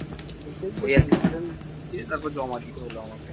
application টি আবার জমা দিতে হলো